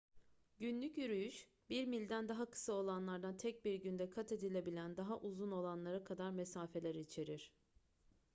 günlük yürüyüş bir milden daha kısa olanlardan tek bir günde kat edilebilen daha uzun olanlara kadar mesafeler içerir